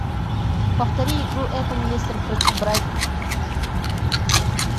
повтори игру апл лестер против брайтона